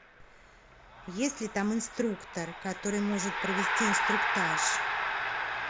есть ли там инструктор который может провести инструктаж